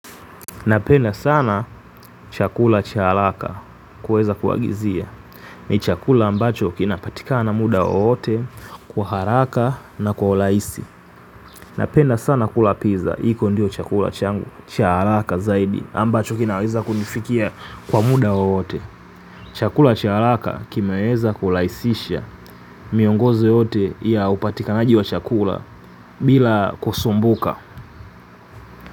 Napenda sana chakula cha haraka kuweza kuagizia. Ni chakula ambacho kinapatikana muda wowote kwa haraka na kwa urahisi. Napenda sana kula piza, hiko ndio chakula changu, cha haraka zaidi ambacho kinaweza kunifikia kwa muda wowote. Chakula cha haraka kimeweza kurahisisha miongozo yote ya upatikanaji wa chakula bila kusumbuka.